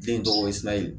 Den dɔgɔkun fila ye